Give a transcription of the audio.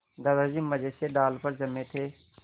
दादाजी मज़े से डाल पर जमे थे